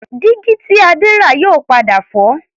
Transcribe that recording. Dígí tí Adé rà yóò padà fọ́